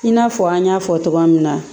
I n'a fɔ an y'a fɔ tɔgɔ min na